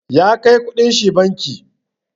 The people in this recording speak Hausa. Ya kai ƙuɗin shi banki.